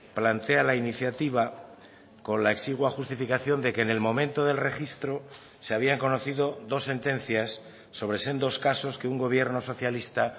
plantea la iniciativa con la exigua justificación de que en el momento del registro se habían conocido dos sentencias sobre sendos casos que un gobierno socialista